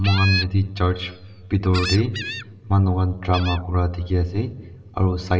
moi khan yate church bitor te manukhan drama kura dikhi ase aru side .